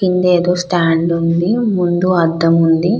కింద ఏదో స్టాండ్ ఉంది. ముందు అద్దం ఉంది.